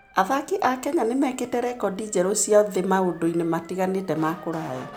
Athaki a Kenya nĩ mekĩte rekondi njerũ cia thĩ maũndũ-inĩ matiganĩte ma kũraya.